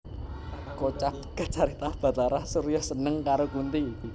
Kocap kacarita Bhatara Surya seneng karo Kunthi